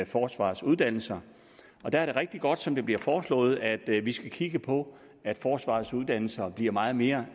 forsvarets uddannelser der er det rigtig godt som det bliver foreslået at vi skal kigge på at forsvarets uddannelser bliver meget mere